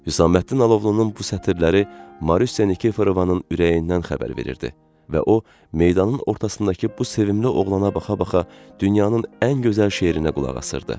Hüsəməddin Alovlunun bu sətirləri Marusiya Nikifrovanın ürəyindən xəbər verirdi və o, meydanın ortasındakı bu sevimli oğlana baxa-baxa dünyanın ən gözəl şeirinə qulaq asırdı.